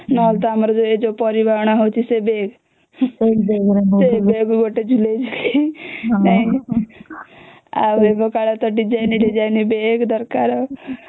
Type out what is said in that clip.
ନହଲେ ଆମର ତ ଯୋଉ ପରିବା ଅଣା ହଉଚି ସେ ବେଗ ସେଇ ବେଗ ଗୋଟେ ଝୁଲେଇକି ଯାଇଁକି ଆଉ ଏବେ କଲେ ତ design design ବେଗ ଦରକାର